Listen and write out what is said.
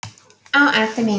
Ó ástin mín.